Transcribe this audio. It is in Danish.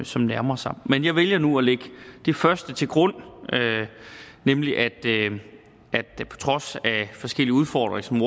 som nærmer sig men jeg vælger nu at lægge det første til grund nemlig at det på trods af forskellige udfordringer som